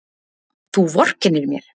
Þú vorkennir mér!